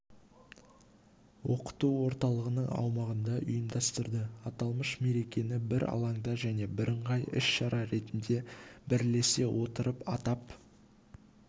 оқыту орталығының аумағында ұйымдастырды аталмыш мерекені бір алаңда және бірыңғай іс-шара ретінде бірлесе отырып атап